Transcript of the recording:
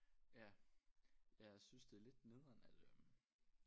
Ja ja jeg synes det er lidt nederen at øh